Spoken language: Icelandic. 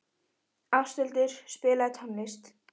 Ásthildur, spilaðu tónlist.